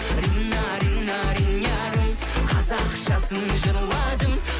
рина рина ринярым қазақшасын жырладым